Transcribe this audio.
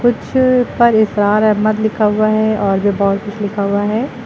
Picture पर इशरार अहमद लिखा हुआ है और भी बहुत कुछ लिखा हुआ है।